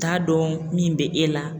T'a dɔn min bɛ e la